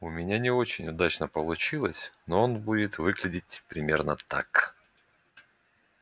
у меня не очень удачно получилось но он будет выглядеть примерно так